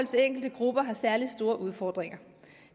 enkelte grupper har særlig store udfordringer